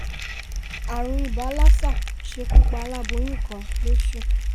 àrùn ibà lassa ṣekú pa aláboyún kan lọ́sùn